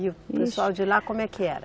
E o pessoal de lá, como é que era?